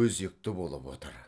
өзекті болып отыр